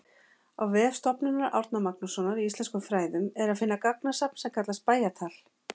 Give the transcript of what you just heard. Á vef Stofnunar Árna Magnússonar í íslenskum fræðum er að finna gagnasafn sem kallast Bæjatal.